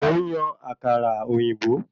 Mò ń yan àkàrà òyìnbó